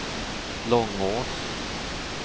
Långås